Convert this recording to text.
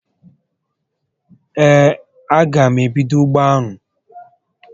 Ee, a gá m ebido ugbo anụ